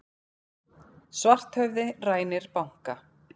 Svarthöfði rænir banka